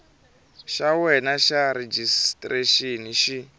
xa wena xa rejistrexini xi